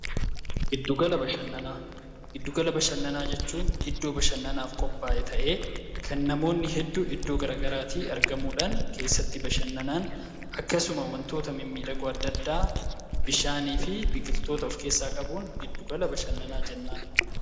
Giddu gala bashannanaa: giddu gala bashannanaa jechuun iddoo bashannanaaf qophaa'e ta'ee kan namoonni hedduu iddoo gara garaati argamuudhaan keessatti bashannanan akkasuma wantoota mimmiidhagoo adda addaa bishaaniifi biqiltoota of keessaa qabuun giddu gala bashannanaa jennaan